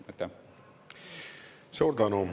Suur tänu!